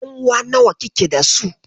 Ƴanuwa nawa kike dasu?